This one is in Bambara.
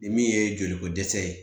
Ni min ye joliko dɛsɛ ye